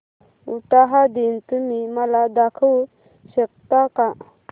उटाहा दिन तुम्ही मला दाखवू शकता का